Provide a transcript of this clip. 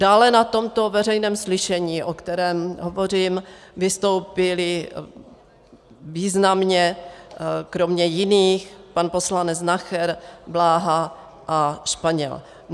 Dále na tomto veřejném slyšení, o kterém hovořím, vystoupili významně kromě jiných pan poslanec Nacher, Bláha a Španěl.